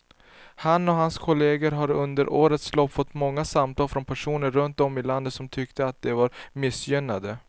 Han och hans kolleger har under årens lopp fått många samtal från personer runt om i landet som tyckte att de var missgynnade.